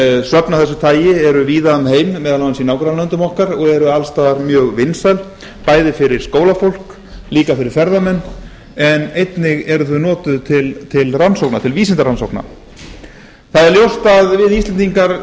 söfn af þessu tagi eru víða um heim meðal annars í nágrannalöndum okkar og eru alls staðar mjög vinsæl bæði fyrir skólafólk líka fyrir ferðamenn en einnig eru þau notuð til vísindarannsókna það er ljóst að við